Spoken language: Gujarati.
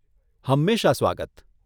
હંમેશા સ્વાગત.